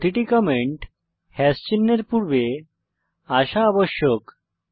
প্রতিটি কমেন্ট চিহ্ন এর পূর্বে আসা আবশ্যক